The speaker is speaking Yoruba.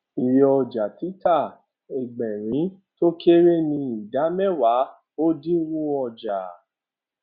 iye ọjà títà egberin tó kéré ni ìdá méwàá ẹdínwó ọjà